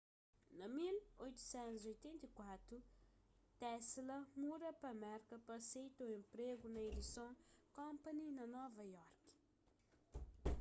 na 1884 tesla muda pa merka pa aseita un enpregu na edison company na nova iorki